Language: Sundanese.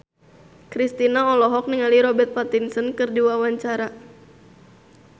Kristina olohok ningali Robert Pattinson keur diwawancara